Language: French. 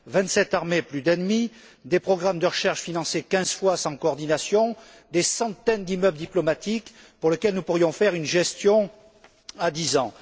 Vingt sept armées, plus d'ennemi, des programmes de recherche financés quinze fois sans coordination et des centaines d'immeubles diplomatiques pour lesquels nous pourrions assurer une gestion à dix ans.